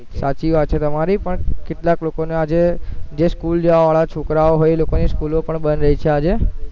સાચી વાત છે તમારી પણ કેટલાક લોકોના જે સ્કૂલ જાવા વાળા છોકરાઓ હોય એ લોકોની સ્કૂલો પણ બંધ રહી છે આજે